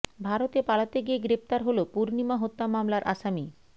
ভারতে পালাতে গিয়ে গ্রেপ্তার হলো পূর্ণিমা হত্যা মামলার আসামি